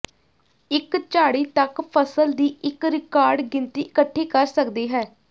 ਇੱਕ ਝਾੜੀ ਤੱਕ ਫਸਲ ਦੀ ਇੱਕ ਰਿਕਾਰਡ ਗਿਣਤੀ ਇਕੱਠੀ ਕਰ ਸਕਦੀ ਹੈ